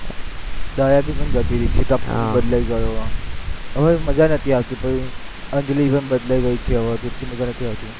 દયા ભી પણ જતી રહી, બદલાઈ ગયો હવે મજા નથી આવતી પછી અંજલિ પણ બદલાઈ ગઈ છે એટલે હવે એટલી મજા નથી આવતી